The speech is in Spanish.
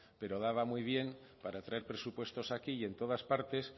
pero daba muy bien para traer presupuestos aquí y en todas partes